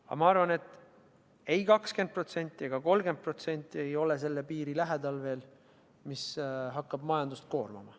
Aga ma arvan, et ei 20% ega 30% ole veel selle piiri lähedal, et hakkaks majandust koormama.